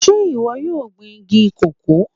Sé ìwọ yóò gbin igi cocoa?